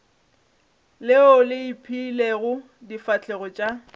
leo le ipeilego difahlegong tša